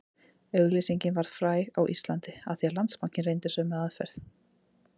Auglýsingin varð fræg á Íslandi af því Landsbankinn reyndi sömu aðferð